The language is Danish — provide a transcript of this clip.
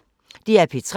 DR P3